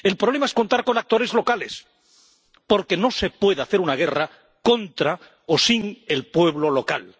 el problema es contar con actores locales, porque no se puede hacer una guerra contra o sin el pueblo local.